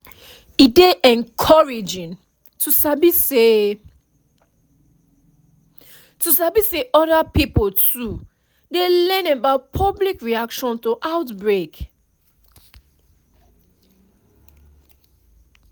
e dey encouraging to sabi say to sabi say other pipo too dey learn about public reaction to outbreak